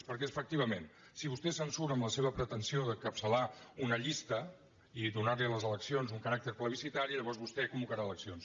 perquè efectivament si vostè se’n surt amb la seva pretensió d’encapçalar una llista i donar a les eleccions un caràcter plebiscitari llavors vostè convocarà eleccions